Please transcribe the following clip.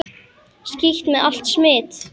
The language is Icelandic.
Skítt með allt smit!